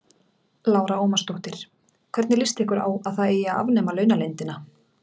Lára Ómarsdóttir: Hvernig lýst ykkur á að það eigi að afnema launaleyndina?